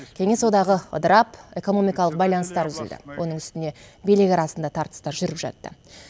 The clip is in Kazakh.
кеңес одағы ыдырап экономикалық байланыстар үзілді оның үстіне билік арасында тартыстар жүріп жатты